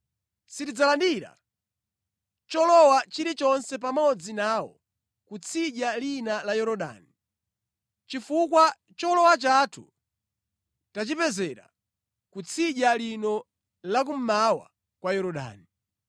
Sitidzalandira cholowa chilichonse pamodzi nawo ku tsidya lina la Yorodani, chifukwa cholowa chathu tachipezera ku tsidya lino la kummawa kwa Yorodani.”